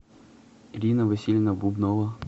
ирина васильевна бубнова